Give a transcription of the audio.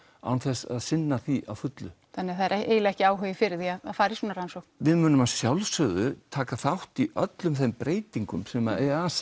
án þess að sinna því að fullu það er ekki áhugi fyrir því að fara í svona rannsókn við munum að sjálfsögðu taka þátt í öllum þeim breytingum sem